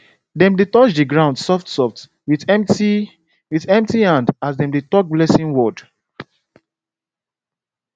dem dey touch the ground softsoft with empty with empty hand as dem dey talk blessing word